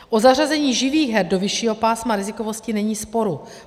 O zařazení živých her do vyššího pásma rizikovosti není sporu.